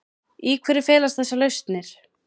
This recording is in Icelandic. Í hverju felast þessar lausnir?